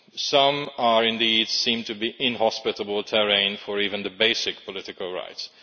Some indeed seem to be inhospitable terrain for even the basic political rights.